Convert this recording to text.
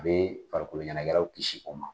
A bɛ farikolo ɲanagɛlaw kisi o ma.